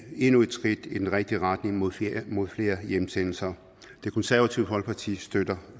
endnu et skridt i den rigtige retning mod flere mod flere hjemsendelser det konservative folkeparti støtter